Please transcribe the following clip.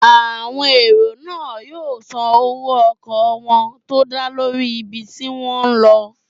Àwọn èrò náà yóò san owó ọkọ̀ wọ́n tó dá lórí ibi tí wọ́n n lọ